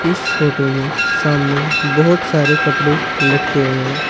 इस फोटो में सामने बहुत सारे कपड़े लटके हुए है।